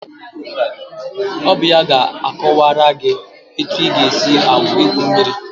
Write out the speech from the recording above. Ọ bụ ya ga-akọwara gị etu ị ga-esi gwuo mmiri